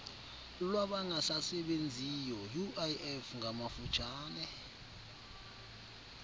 lwabangasasebenziyo uif ngamafutshane